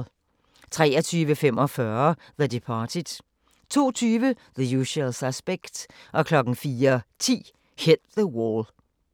23:45: The Departed 02:20: The Usual Suspects 04:10: Hit the Wall